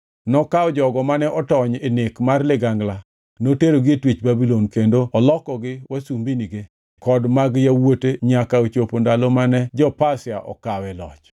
Nokawo jogo mane otony e nek mag ligangla noterogi e twech Babulon kendo olokogi wasumbinige kod mag yawuote nyaka ochopo ndalo mane jo-Pasia okawe loch.